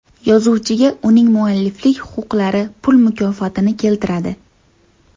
Yozuvchiga uning mualliflik huquqlari pul mukofotini keltiradi”.